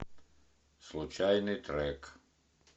случайный трек